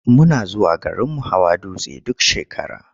Muna zuwa garinmu hawa dutse duk shekara.